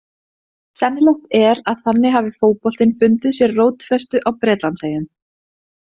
Sennilegt er að þannig hafi fótboltinn fundið sér rótfestu á Bretlandseyjum.